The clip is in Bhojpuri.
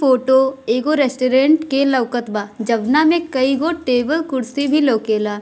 फोटो एगो रेस्टोरेंट के लउकत बा जउना में कईगो टेबल कुर्सी भी लउकेला।